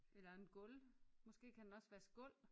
Eller en gulv måske kan den også vaske gulv